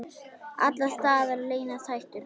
Alls staðar leynast hættur.